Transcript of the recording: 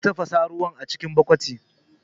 Zai tafasa ruwa cikin tukunya